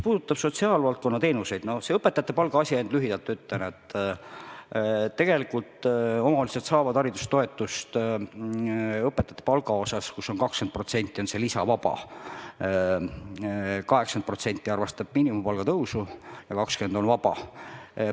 See õpetajate palga asi – ainult lühidalt ütlen, et tegelikult omavalitsused saavad haridustoetust õpetajate palgaks, kus 20% on see lisavaba: 80% arvestab miinimumpalga tõusu ja 20% on vaba.